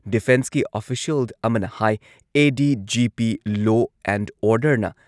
ꯗꯤꯐꯦꯟꯁꯀꯤ official ꯑꯃꯅ ꯍꯥꯏ ADGP law and ꯑꯣꯔꯗꯔꯅ